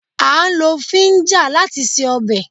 A ń lo fíńja láti se ọbẹ̀